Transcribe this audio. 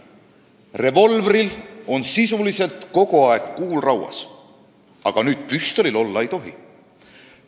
Revolvril on sisuliselt kogu aeg kuul rauas, aga püstolil nüüd olla ei tohi.